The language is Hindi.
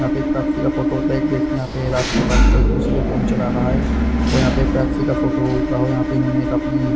यहाँ पे एक पेप्सी का फोटो उठ रहा है एक व्यक्ति यहाँ पे रात को बैठ कर के फोन चला रहा है और यहाँ पे पैप्सी का फोटो उठ रहा है और यहाँ पे इन्होंने एक अपनी--